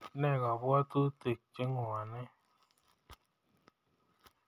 Ne kabwatutik chenwone